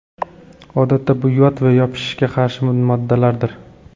Odatda bu yod va yopishishga qarshi moddalardir.